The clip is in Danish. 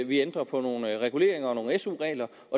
vi ændrer på nogle reguleringer og nogle su regler